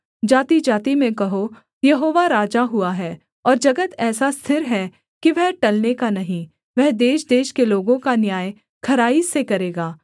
जातिजाति में कहो यहोवा राजा हुआ है और जगत ऐसा स्थिर है कि वह टलने का नहीं वह देशदेश के लोगों का न्याय खराई से करेगा